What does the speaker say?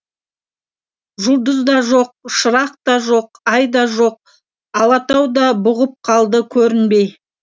жұлдыз да жоқ шырақ та жоқ ай да жоқ алатау да бұғып қалды көрінбей